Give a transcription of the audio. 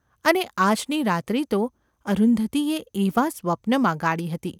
અને આજની રાત્રિ તો અરુંધતીએ એવાં સ્વપ્નમાં ગાળી હતી.